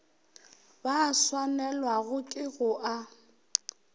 ba swanelwago ke go a